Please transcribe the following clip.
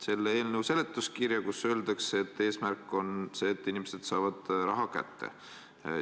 Mina loen eelnõu seletuskirja, kus öeldakse, et eesmärk on see, et inimesed saavad raha kätte.